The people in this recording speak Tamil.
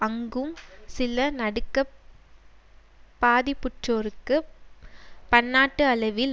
அங்கும் சில நடுக்கப் பாதிப்புற்றோருக்குப் பன்னாட்டு அளவில்